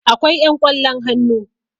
akwai yan ƙwallon hannu